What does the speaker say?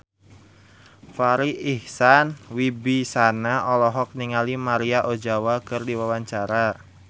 Farri Icksan Wibisana olohok ningali Maria Ozawa keur diwawancara